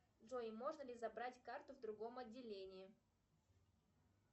джой можно ли забрать карту в другом отделении